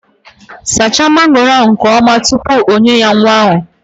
Saacha mangooro ahu nke oma tupu onye ya nwa ahu!